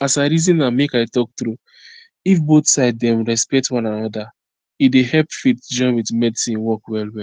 as i reason am make i talk true if both side dem respect one anoda e dey help faith join with medicine work well well